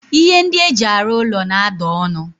Ihe ndi eji aru ulo na-ada onu.